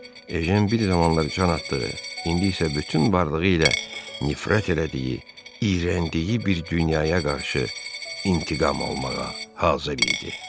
Ejən bir zamanlar can atdığı, indi isə bütün varlığı ilə nifrət elədiyi, iyrəndiyi bir dünyaya qarşı intiqam almağa hazır idi.